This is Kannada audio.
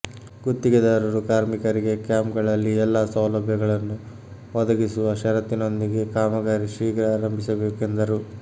ಗುತ್ತಿಗೆದಾರರು ಕಾರ್ಮಿಕರಿಗೆ ಕ್ಯಾಂಪ್ಗಳಲ್ಲಿ ಎಲ್ಲ ಸೌಲಭ್ಯಗಳನ್ನು ಒದಗಿಸುವ ಷರತ್ತಿನೊಂದಿಗೆ ಕಾಮಗಾರಿ ಶೀಘ್ರ ಆರಂಭಿಸಬೇಕು ಎಂದರು